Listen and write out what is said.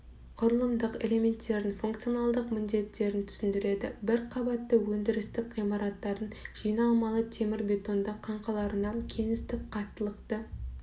құрылымдық элементтердің функционалдық міндеттерін түсіндіреді бір қабатты өндірістік ғимараттардың жиналмалы темірбетонды қаңқаларына кеңістік қаттылықты